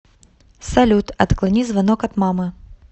салют отклони звонок от мамы